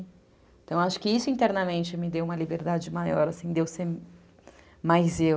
Então acho que isso internamente me deu uma liberdade maior, assim, deu deu ser mais eu.